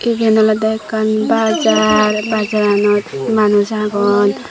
eben olodey ekkan bajar bajaranot manus agon.